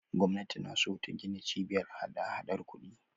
Gwamnati na so ta gina Cibiyar hadahadar kuɗi.